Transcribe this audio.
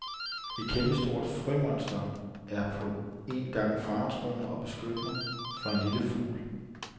Et kæmpestort frømonster er på en gang faretruende og beskyttende for en lille fugl.